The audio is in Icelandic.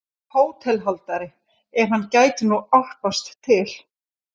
HÓTELHALDARI: Ef hann gæti nú álpast til.